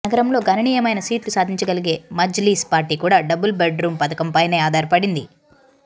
నగరంలో గణనీయమైన సీట్లు సాధించగలిగే మజ్లిస్ పార్టీ కూడా డబుల్ బెడ్ రూం పథకం పైనే ఆధారపడింది